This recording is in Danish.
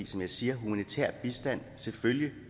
som jeg siger humanitær bistand selvfølgelig